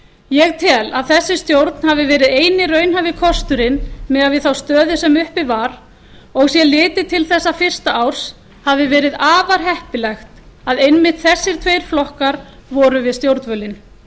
ég tel að þessi stjórn hafi verið eini raunhæfi kosturinn miðað við þá stöðu sem uppi var og sé litið til þessa fyrsta árs hafi verið afar heppilegt að einmitt þessir tveir flokkar voru við stjórnvölinn